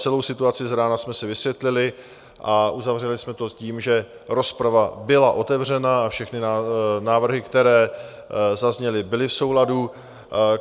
Celou situaci z rána jsme si vysvětlili a uzavřeli jsme to tím, že rozprava byla otevřena a všechny návrhy, které zazněly, byly v souladu.